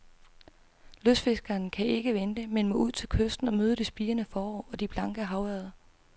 Lystfiskeren kan ikke vente, men må ud til kysten og møde det spirende forår og de blanke havørreder.